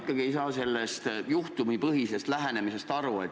Ma ei saa ikkagi sellest juhtumipõhisest lähenemisest aru.